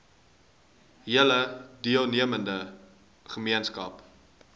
hele deelnemende gemeenskap